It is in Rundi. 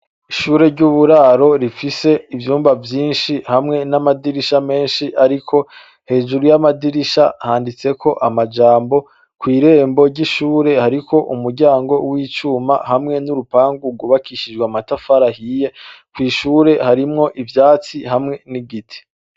Ishure ry'uburaro rifise ivyumba vyinshi, hamwe n'amadirisha menshi ,ariko hejuru y'amadirishe handitseko majambo, kwirembo ry'ishure hariko umuryango w'icuma hamwe n'urupangu rwubakishije amatafari ahiye, kw'ishure harimwo ivyatsi hamwe n'igiti.